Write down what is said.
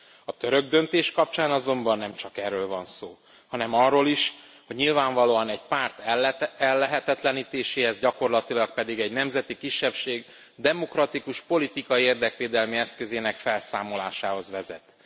A török döntés kapcsán azonban nem csak erről van szó, hanem arról is, hogy nyilvánvalóan egy párt ellehetetlenítéséhez, gyakorlatilag pedig egy nemzeti kisebbség demokratikus politikai érdekvédelmi eszközének felszámolásához vezet.